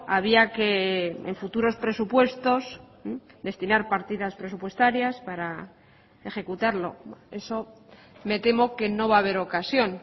había que en futuros presupuestos destinar partidas presupuestarias para ejecutarlo eso me temo que no va a haber ocasión